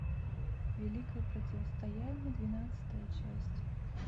великое противостояние двенадцатая часть